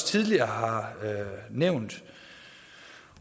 tidligere har nævnt